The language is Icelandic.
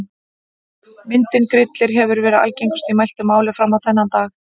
Myndin Grillir hefur verið algengust í mæltu máli fram á þennan dag.